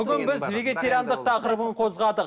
бүгін біз вегетариандық тақырыбын қозғадық